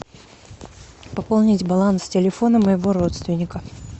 пополнить баланс телефона моего родственника